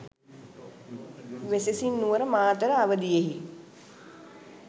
වෙසෙසින් Nuwara, Matara අවධියෙහි